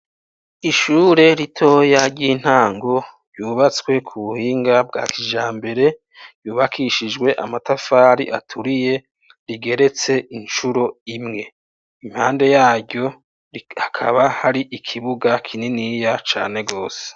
Ishure ritoya ry'intango ryubatswe ku buhinga bwa kijambere ryubakishijwe amatafari aturiye rigeretse incuro imwe, impande yaryo hakaba hari ikibuga kininiya cane gose.